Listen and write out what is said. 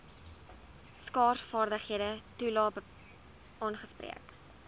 skaarsvaardighede toelae aangespreek